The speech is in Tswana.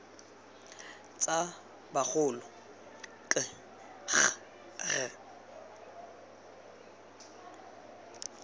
tsa bagolo k g r